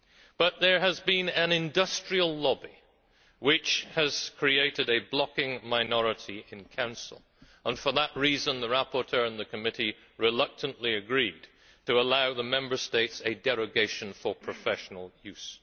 But there has been an industrial lobby which has created a blocking minority in Council, and for that reason the rapporteur and the committee reluctantly agreed to allow the Member States a derogation for professional